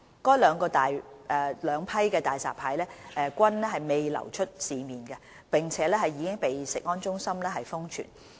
該兩批大閘蟹均未流出市面，並已被食安中心封存。